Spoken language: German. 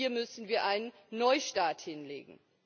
hier müssen wir einen Neustart hinlegen.